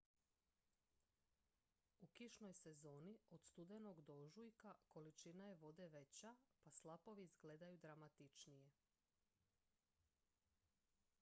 u kišnoj sezoni od studenog do ožujka količina je vode veća pa slapovi izgledaju dramatičnije